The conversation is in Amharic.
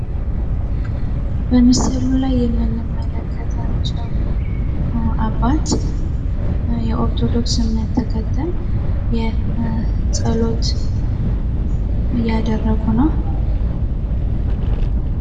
በምስሉ ላይ የምንመለከታቸው አባት የኦርቶዶክስ እምነት ተከታይ የጸሎት እያደረጉ ነው።